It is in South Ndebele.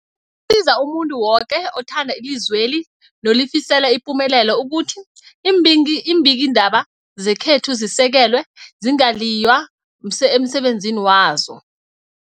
Kusiza umuntu woke othanda ilizweli nolifisela ipumelelo ukuthi iimbingi iimbikiindaba zekhethu zisekelwe, zingaliywa emsebenzini wazo.